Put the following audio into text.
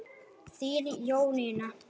Þín Jónína.